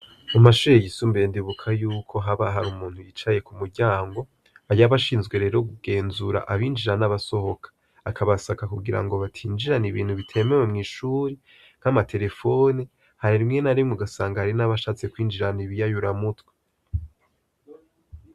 Mumashure yisumbiye ndibuka yuko haba hari umuntu yicaye k'umuryango yaba ashinzwe rero kugenzura abinjira n'abasohoka, akabasaka kugirango batinjirana ibintu bitemewe mw'ishuri nk'amaterefone. Hari rimwe narimwe ugasanga ari n'abashatse kwinjirana ibiyayuramutwe.